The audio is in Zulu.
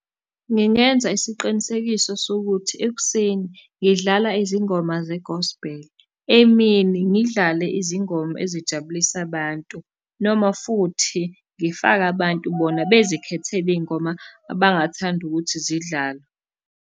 Ngingenza isiqinisekiso sokuthi ekuseni ngidlala izingoma zegosbheli, emini ngidlale izingoma ezijabulisa abantu, noma futhi ngifake abantu bona bazikhethele iy'ngoma abangathanda ukuthi zidlale.